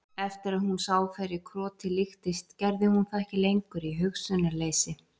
Eftir að hún sá hverju krotið líktist gerði hún það ekki lengur í hugsunarleysi.